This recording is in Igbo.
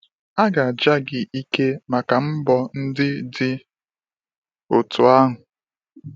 A ga aja gị ike maka mbọ ndị dị otu ahụ